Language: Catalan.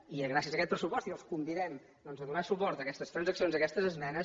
i gràcies a aquest pressupost i els convidem a donar suport a aquestes transaccions a aquestes esmenes